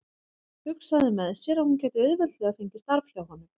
Hugsaði með sér að hún gæti auðveldlega fengið starf hjá honum.